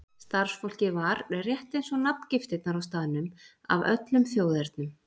Starfsfólkið var, rétt eins og nafngiftirnar á staðnum, af öllum þjóðernum.